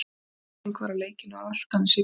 Fín mæting var á leikinn á Álftanesi í kvöld.